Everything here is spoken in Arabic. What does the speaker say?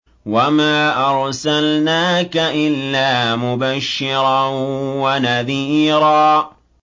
وَمَا أَرْسَلْنَاكَ إِلَّا مُبَشِّرًا وَنَذِيرًا